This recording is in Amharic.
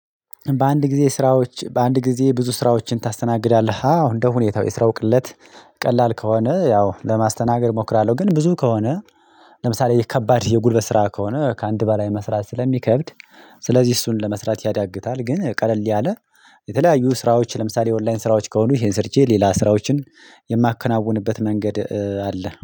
በአንድ ጊዜ ስራዎች በአንድ ጊዜ ብዙ ስራዎችን ታስተናግዳለህ? አዎ እንደሁኔታው የስራው ቅለት ቀላል ከሆነ ያው ለማስተናገድ እሞክራለሁ። ግን ብዙ ከሆነ ለምሳሌ ከባድ የጉልበት ስራ ከሆነ ከአንድ በላይ መስራት ስለሚከብድ ስለዚህ እሱን ለመስራት ያዳግታል። ግን ቀለል ያለ የተለያዩ ስራዎች ለምሳሌ ኦንላይን ስራዎች ከሆኑ ይሄን ሰርቼ ሌላ ስራዎችን የማከናውንበት መንገድ አለ።